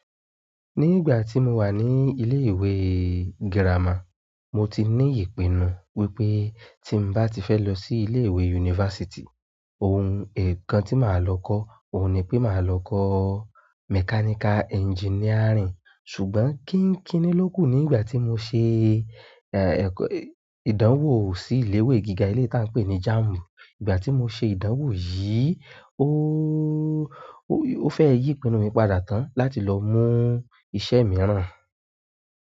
Ní ìgbà tí mo wà ní ilé ìwé gírámà, mo ti ní ìpinnu wípé tí ń bá ti fẹ́ lọ sí ilé ìwé yunifásítì, ohun nkan tí màá lọ kọ́ ò ní pé màá lọ kọ́ mechanical engineering. Ṣùgbọ́n kí ń kíní ló kù nígbà tí mo ṣe, ìdánwò sí ilé ìwé gíga eleyi tí a ń pè ní JAMB. Nígbà tí mo ṣe ìdánwò yìí, ooo, ó fẹ́ yí ìpinnu mi padà tán láti lọ mú iṣẹ́ mìíràn.